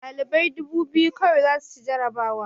Ɗalibai dubu biyu kawai za su ci jarabawa